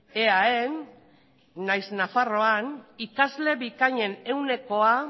eaen nahiz nafarroan ikasle bikainen ehunekoa